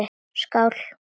Skál!